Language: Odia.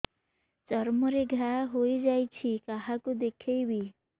ଚର୍ମ ରେ ଘା ହୋଇଯାଇଛି କାହାକୁ ଦେଖେଇବି